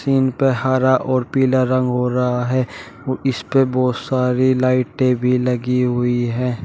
Scene पे हरा और पीला रंग हो रहा है और इस पे बोहोत सारी लाइटें भी लगी हुई हैं।